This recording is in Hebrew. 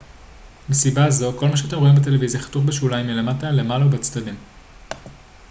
מסיבה זו כל מה שאתם רואים בטלוויזיה חתוך בשוליים מלמעלה מלמטה ובצדדים